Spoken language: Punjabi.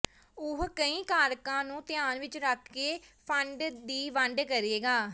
ਉਹ ਕਈ ਕਾਰਕਾਂ ਨੂੰ ਧਿਆਨ ਵਿਚ ਰੱਖ ਕੇ ਫੰਡ ਦੀ ਵੰਡ ਕਰੇਗਾ